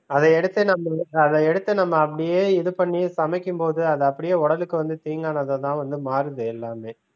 அதை எடுத்து நம்ம~ அதை எடுத்து நம்ம அப்படியே இது பண்ணி சமைக்கும்போது அது அப்படியே உடலுக்கு வந்து தீங்கானதா தான் வந்து மாறுது எல்லாமே